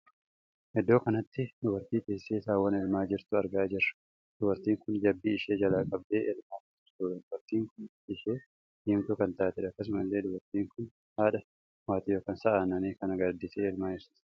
Iddoo kanatti dubartii teessee saawwa elmaa jirtuu argaa jirru. dubartiin kun jabbii ishee jala qabdee elmaa kan jirtudha. dubartiin kun bifti ishee diimtuu kan taatedha. akkasuma illee dubartii kun haadha waatii ykn sa'a annanii kana gaaditee elmaa jirti.